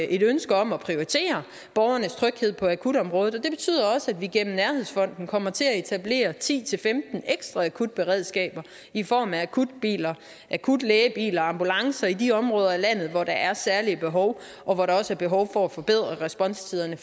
et ønske om at prioritere borgernes tryghed på akutområdet og det betyder også at vi gennem nærhedsfonden kommer til at etablere ti til femten ekstra akutberedskaber i form af akutbiler og akutlægebiler og ambulancer i de områder af landet hvor der er særlige behov og hvor der også er behov for at forbedre responstiderne